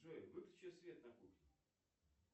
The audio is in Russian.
джой выключи свет на кухне